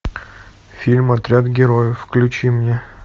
фильм отряд героев включи мне